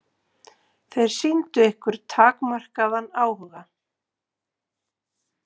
Þeir sýndu ykkur takmarkaðan áhuga?